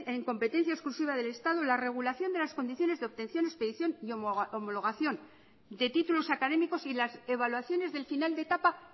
en competencia exclusiva del estado la regulación de las condiciones de obtención expedición y homologación de títulos académicos y las evaluaciones del final de etapa